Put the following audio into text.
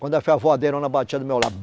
Quando a voadeirona, batia do meu